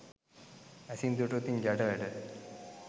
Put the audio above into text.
ඇසින් දුටුවොතින් ජඩ වැඩ